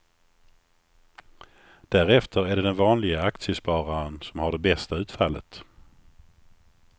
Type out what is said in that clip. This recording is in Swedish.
Därefter är det den vanlige aktiespararen som har det bästa utfallet.